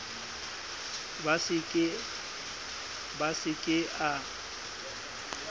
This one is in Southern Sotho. b a se ke a